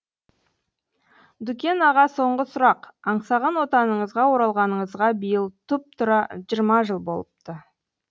дүкен аға соңғы сұрақ аңсаған отаныңызға оралғаныңызға биыл тұп тура жиырма жыл болыпты